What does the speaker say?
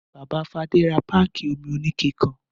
Bàbá Fadé ra páákì omi oníke kan.